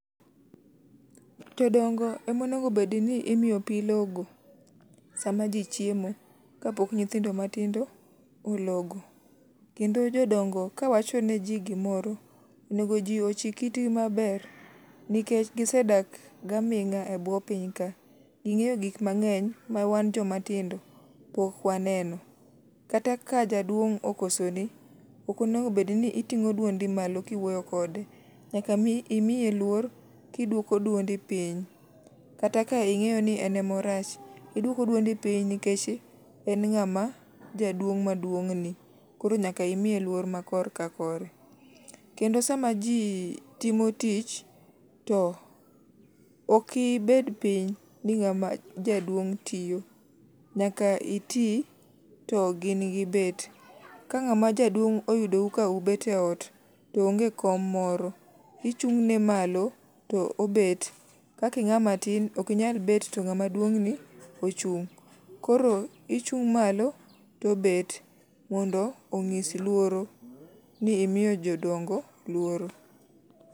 Jodongo ema onego bedni imiyo pi logo sama ji chiemo kapok nyithindo matindo ologo. Kendo jodongo kawacho neji gimoro, onego ji ochik itgi maber nikech gisedak gaming'a e bwo piny ka. Ging'eyo gik mang'eny ma wan jomatindo pok waneno. Kata ka jaduong' okosoni ok onego bed ni iting'o duondi malo kiwuoyo kode. Nyaka imiye luor kiduoko dundi piny. Kata king'eyo ni en ema orach, iduoko duondi piny nikech en ng'ama jaduong' ma duonng'ni. Koro nyaka imiye luor ma korka kore. Kendo sama ji timo tich to ok ibed piny ni ng'ama jaduong' tiyo. nyaka iti to gin gibet. Ka ng'ama jaduong' oyudou ka ubet eot, to onge kom moro, ichung'ne malo to obet. Kaka ing'ama tin ok inyal bet to ng'ama duong'ni ochung'. Koro ichung' malo to obet mondo onyis luoro, ni imiyo jodongo luor.